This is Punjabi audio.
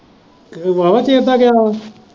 ਤੇ ਉਹ ਬਾਹਵਾ ਚਿਰ ਦਾ ਗਿਆ ਵਾ ।